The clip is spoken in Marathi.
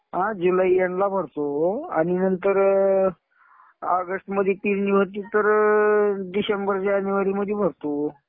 हा. जुलै एंडला भरतो. आणि नंतर ऑगस्ट मध्ये पेरणी होती तर डिसेंबर-जानेवारीमध्ये भरतो.